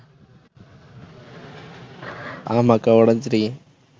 ஆமா அக்கா உடைச்சிருக்கேன்